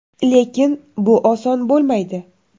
Lekin bu oson bo‘lmaydi.